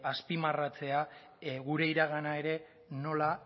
azpimarratzea gure iragana ere nola